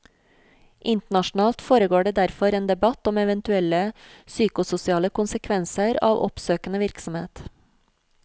Internasjonalt foregår det derfor en debatt om eventuelle psykososiale konsekvenser av oppsøkende virksomhet.